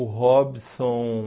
O Robson...